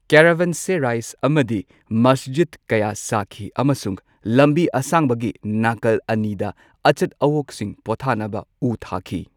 Caravanserai ꯑꯃꯗꯤ ꯃꯁꯖꯤꯗ ꯀꯌꯥ ꯁꯥꯈꯤ ꯑꯃꯁꯨꯡ ꯂꯝꯕꯤ ꯑꯁꯥꯡꯕꯒꯤ ꯅꯥꯀꯜ ꯑꯅꯤꯗ ꯑꯆꯠ ꯑꯋꯣꯛꯁꯤꯡ ꯄꯣꯊꯥꯅꯕ ꯎ ꯊꯥꯈꯤ꯫